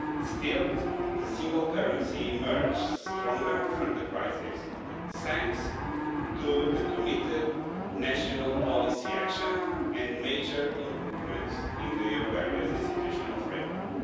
Still, the single currency emerged stronger from the crises, thanks to committed national policy action and major improvements in the euro area's institutional framework.